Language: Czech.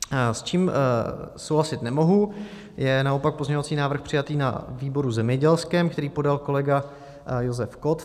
S čím souhlasit nemohu, je naopak pozměňovací návrh přijatý na výboru zemědělském, který podal kolega Josef Kott.